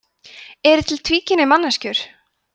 eru til tvíkynja manneskjur